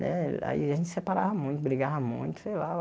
Né aí a gente separava muito, brigava muito, sei lá.